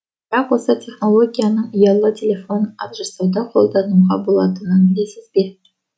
бірақ осы технологияның ұялы телефон ақ жасауда қолдануға болатынын білесіз бе